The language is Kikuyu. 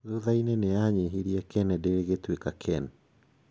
Thutha-inĩ nĩ anyihirie Kennedy rĩgĩtuĩka Ken.